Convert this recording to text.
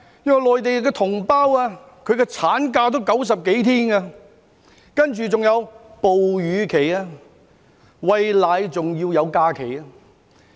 因為內地同胞的產假也有90多天，還有哺乳假期，即餵奶也有假期。